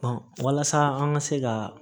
walasa an ka se ka